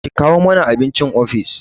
Ki kawo mani abincin ofis!